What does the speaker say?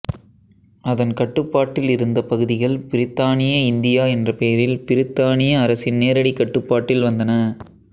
அதன் கட்டுப்பாட்டில் இருந்த பகுதிகள் பிரித்தானிய இந்தியா என்ற பெயரில் பிரித்தானிய அரசின் நேரடிக் கட்டுப்பாட்டில் வந்தன